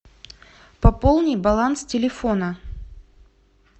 пополни баланс телефона